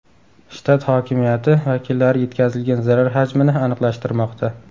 Shtat hokimiyati vakillari yetkazilgan zarar hajmini aniqlashtirmoqda.